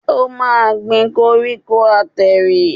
O máa gbin koríko àtẹ̀rìn.